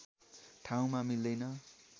ठाउँमा मिल्दैन